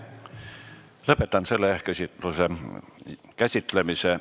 Lõpetan selle küsimuse käsitlemise.